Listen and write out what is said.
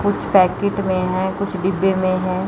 कुछ पैकिट में हैं कुछ डिब्बे में है।